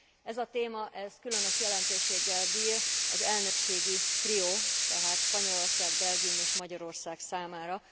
Ez a téma különös jelentőséggel bír az elnökségi trió, tehát Spanyolország, Belgium és Magyarország számára.